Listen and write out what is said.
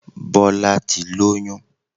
Bọ́lá ti lóyún